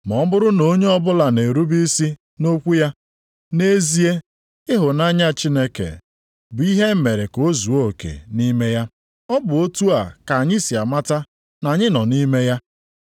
Ma ọ bụrụ na onye ọbụla na-erube isi nʼokwu ya, nʼezie, ịhụnanya Chineke bụ ihe emere ka o zuo oke nʼime ya. Ọ bụ otu a ka anyị si amata na anyị nọ nʼime ya.